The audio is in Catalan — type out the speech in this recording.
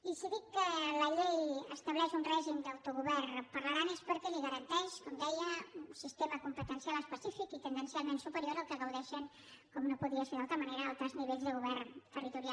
i si dic que la llei estableix un règim d’autogovern per a l’aran és perquè li garanteix com deia un sistema competencial específic i tendencialment superior al que en gaudeixen com no podia ser d’altra manera altres nivells de govern territorial